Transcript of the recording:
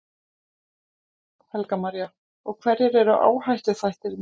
Helga María: Og hverjir eru áhættuþættirnir?